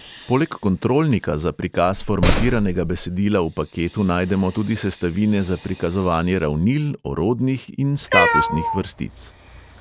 Poleg kontrolnika za prikaz formatiranega besedila v paketu najdemo tudi sestavine za prikazovanje ravnil, orodnih in statusnih vrstic.